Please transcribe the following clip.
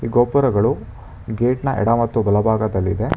ಗೋಪುರಗಳು ಗೇಟ್ನ ಎಡ ಮತ್ತು ಬಲಭಾಗದಲ್ಲಿದೆ.